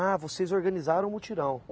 Ah, vocês organizaram o mutirão.